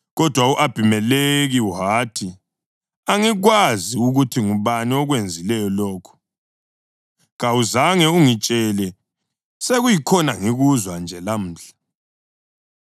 Kodwa u-Abhimelekhi wathi, “Angikwazi ukuthi ngubani okwenzileyo lokho. Kawuzange ungitshele, sekuyikhona ngikuzwa nje lamhla.”